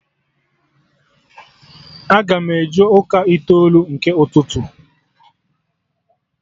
Aga m eje ụka itoolu nke ụtụtụ